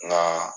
Nka